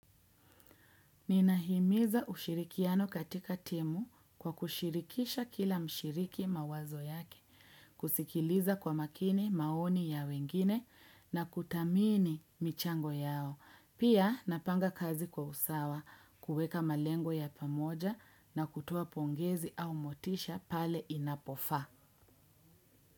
Ninahimiza ushirikiano katika timu kwa kushirikisha kila mshiriki mawazo yake, kusikiliza kwa makini maoni ya wengine na kuthamini michango yao. Pia napanga kazi kwa usawa, kuweka malengo ya pamoja na kutoa pongezi au motisha pale inapofaa.